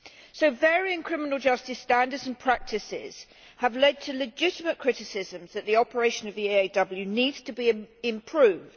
So varying criminal justice standards and practices have led to legitimate criticisms that the operation of the EAW needs to be improved.